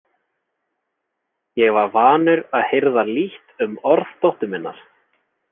Ég var vanur að hirða lítt um orð dóttur minnar.